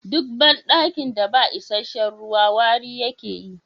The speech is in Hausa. Duk bandakin da ba isasshen ruwa wari yake yi.